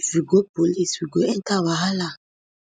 if we go police we go enta wahala